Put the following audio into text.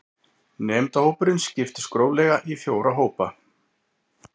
Nemendahópurinn skiptist gróflega í fjóra hópa